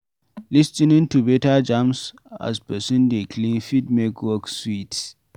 Lis ten ing to better jams as person dey clean fit make work sweet